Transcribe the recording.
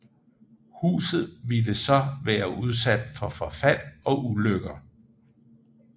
Huset ville så være udsat for forfald og ulykker